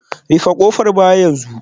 Rufe kofar baya yanzu